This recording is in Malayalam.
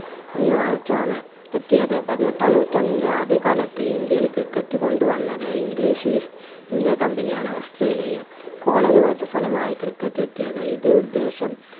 ആണ് എത്തിയത് പതിനെട്ടാം നൂറ്റാണ്ടിന്റെ ആദ്യകാലത്ത് ഇന്ത്യയിൽ ക്രിക്കറ്റ് കൊണ്ട് വന്നത് english east india company ആണ് ഓസ്‌ട്രേലിയയും കോള ഫലമായി ക്രിക്കറ്റ് എത്തിയത് ഇത് ഉദ്ദേശം